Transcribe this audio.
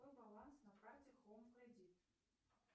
какой баланс на карте хоум кредит